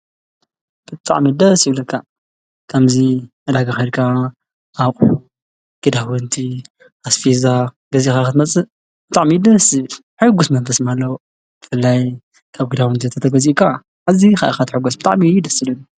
ብጥዕሚደ ሲውለካ ከምዙይ ኣዳጋ ኸርካ ኣቅግዳወንቲ ኣስፊዛ ገዜኻኽት መጽእ ጥዕሚድ ሢ ሕጉስ መንፈስ ማለዉ እፍላይ ካብ ጊዳወንቲ ዘተተጐጺኡቕቃ እዚ ኻያኻት ሕጐስ ብጣዕሚዩ ይደስሉን።